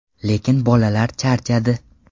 Lekin bolalar charchadi.